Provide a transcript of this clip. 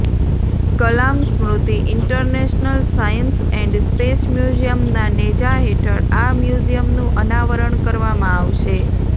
Kalam Smriti international science and space મ્યુઝિયમના નેજા હેઠળ આ મ્યુઝિમનું અનાવરણ કરવામાં આવશે